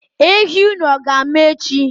Ehi unu ọ ga-amụ echi?